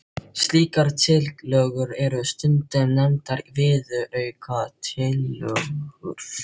Slíkar tillögur eru stundum nefndar viðaukatillögur.